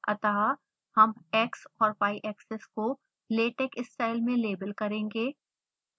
अतः हम x और y axes को latex style में लेबल करेंगे